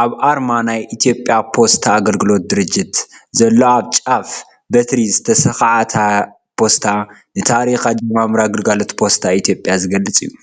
ኣብ ኣርማ ናይ ኢትዮጵያ ፖስታ ኣገልግሎት ድርጅት ዘሎ ኣብ ጫፍ በትሪ ዝተሰክዓ ፖስታ ንታሪክ ኣጀማምራ ግልጋሎት ፖስታ ኢትዮጵያ ዝገልፅ እዩ፡፡